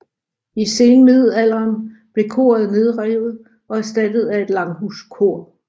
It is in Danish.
I senmiddelalderen blev koret nedrevet og erstattet af et langhuskor